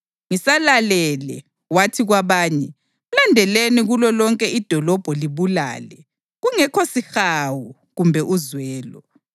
Ngisalalele, wathi kwabanye, “Mlandeleni kulolonke idolobho libulale, kungekho sihawu kumbe uzwelo.